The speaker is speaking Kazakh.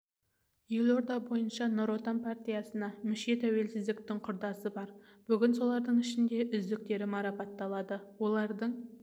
елорда бойынша нұр отан партиясына мүше тәуелсіздіктің құрдасы бар бүгін солардың ішінде үздіктері марапатталды олардың